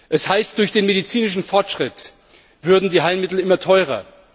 Es heißt, durch den medizinischen Fortschritt würden die Heilmittel immer teurer.